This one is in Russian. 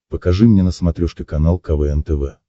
покажи мне на смотрешке канал квн тв